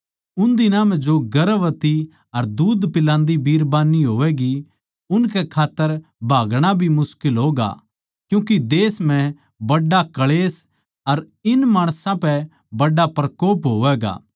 उन दिनां म्ह जो गर्भवती अर दूध पिलान्दी बिरबान्नी होवैगीं उनकै खात्तर भागणा भी मुश्किल होगा क्यूँके देश म्ह बड्ड़ा क्ळेश अर इन माणसां पै बड्ड़ा प्रकोप होवैगा